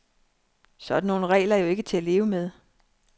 Sådan nogle regler er jo ikke til at leve med.